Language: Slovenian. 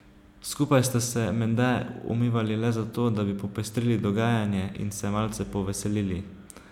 Skupaj sta se menda umivali le zato, da bi popestrili dogajanje in se malce poveselili.